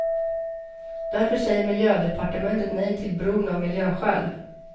Därför säger miljödepartementet nej till bron av miljöskäl.